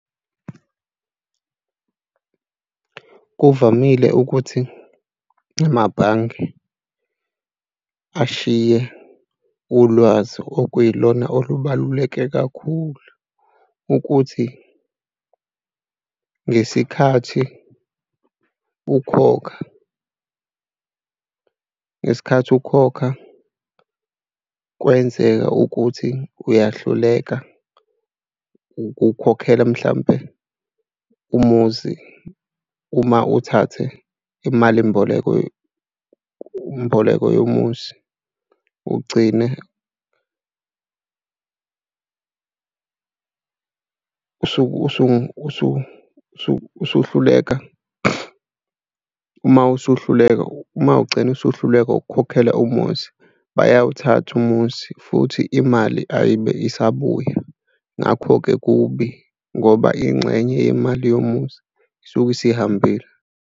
Kuvamile ukuthi amabhange ashiye ulwazi okuyilona olubaluleke kakhulu ukuthi ngesikhathi ukhokha, ngesikhathi ukhokha, kwenzeka ukuthi uyahluleka ukukhokhela mhlawumpe umuzi uma uthathe imalimboleko mboleko yomuzi ugcine usuhluleka, uma usuhluleka, uma ugcina usuhluleka ukukhokhela muzi, bayawuthatha umuzi futhi imali ayibe isabuya. Ngakho-ke kubi ngoba ingxenye yemali yomuzi isuke isihambile.